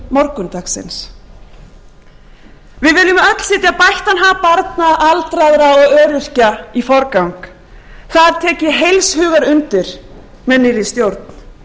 morgundagsins við viljum öll setja bættan hag barna aldraðra og öryrkja í forgang það tek ég heils hugar undir með nýrri stjórn